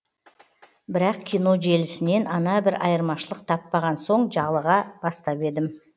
бірақ кино желісінен ана бір айырмашылық таппаған соң жалыға бастап едім